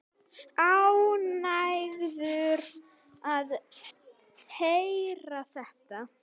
Ánægður að heyra þetta.